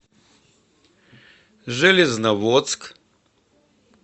железноводск